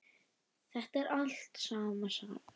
Þetta er alltaf sama sagan.